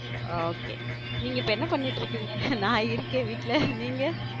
Okay நீங்க இப்போ என்ன பண்ணிட்டு இருக்கீங்க? நான் இருக்கேன் வீட்ல நீங்க?